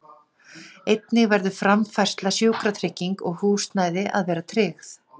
Einnig verður framfærsla, sjúkratrygging og húsnæði að vera tryggð.